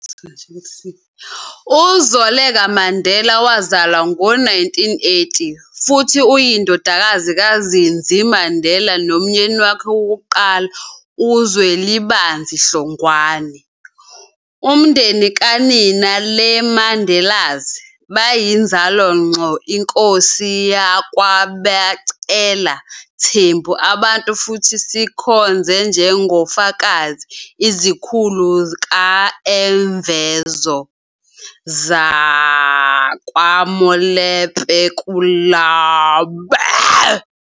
UZoleka Mandela wazalwa ngo-1980 futhi uyindodakazi kaZindzi Mandela nomyeni wakhe wokuqala uZwelibanzi Hlongwane. Umndeni kanina, le Mandelas, bayinzalo ngqo inkosi yakwa-becela Thembu abantu futhi sikhonze njengoFakazi izikhulu ka eMvezo, sakwaMolepo lakubo lendabuko.